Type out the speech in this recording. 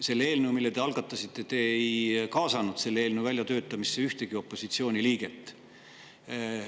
Selle eelnõu väljatöötamisse, mille te algatasite, ei kaasanud te ühtegi opositsiooni liiget.